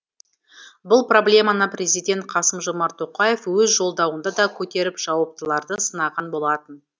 бұл проблеманы президент қасым жомарт тоқаев өз жолдауында да көтеріп жауаптыларды сынаған болатын